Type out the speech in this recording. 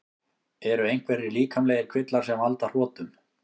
Eru einhverjir líkamlegir kvillar sem valda hrotum?